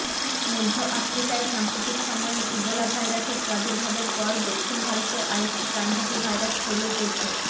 মধ্য আফ্রিকায় সাম্প্রতিক সময়ে ইবোলা ভাইরাসের প্রাদুর্ভাবের পর দক্ষিণ ভারতে আরেকটি প্রাণঘাতী ভাইরাস ছড়িয়ে পড়ছে